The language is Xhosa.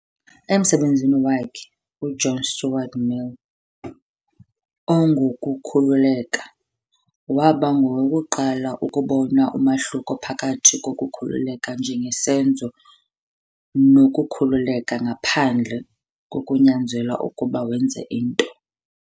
Emsebenzini wakhe, UJohn Stuart Mill, "ongokukhululeka", waba ngowokuqala ukubona umahluko phakathi kokukhululeka njengesenzo nokukhululeka ngaphandle, kokunyanzelwa ukuba wenze into.